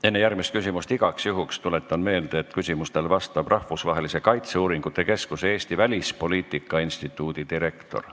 Enne järgmist küsimust tuletan igaks juhuks meelde, et küsimustele vastab Rahvusvahelise Kaitseuuringute Keskuse Eesti Välispoliitika Instituudi direktor.